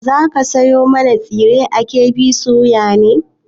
Za ka sayo mana tsire a KB soya ne?